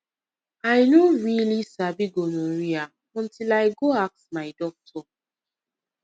i no really sabi gonorrhea until i go ask my doctor